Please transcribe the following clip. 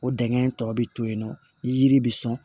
O dingɛn tɔ bi to yen nɔ ni yiri bɛ sɔn